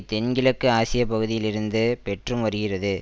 தென்கிழக்கு ஆசிய பகுதியில் இருந்து பெற்று வருகிறது